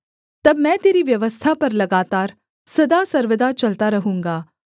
तब मैं तेरी व्यवस्था पर लगातार सदा सर्वदा चलता रहूँगा